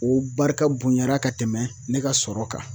O barika bonyana ka tɛmɛ ne ka sɔrɔ kan